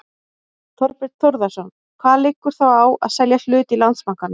Þorbjörn Þórðarson: Hvað liggur þá á að selja hlut í Landsbankanum?